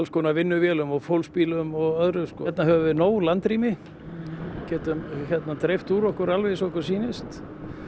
konar vinnuvélum og fólksbílum og öðru hérna höfum við nóg landrými getum dreift úr okkur eins og okkur sýnist